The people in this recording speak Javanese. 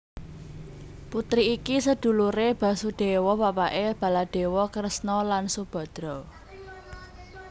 Putri iki seduluré Basudéwa bapaké Baladéwa Kresna lan Subadra